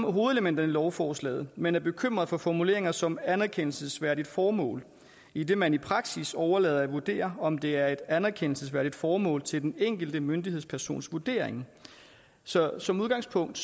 om hovedelementerne i lovforslaget men er bekymret for formuleringer som anerkendelsesværdigt formål idet man i praksis overlader at vurdere om det er et anerkendelsesværdigt formål til den enkelte myndighedspersons vurdering så som udgangspunkt